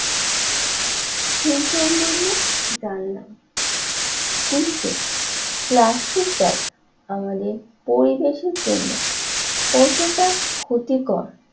সেই সম্বন্ধে জানলাম কিন্তুপ্লাস্টিক ব্যাগ আমাদের পরিবেশের জন্য কতটা ক্ষতিকর